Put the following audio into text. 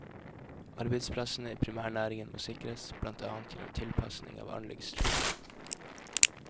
Arbeidsplassene i primærnæringen må sikres, blant annet gjennom tilpassing av anleggsstrukturen.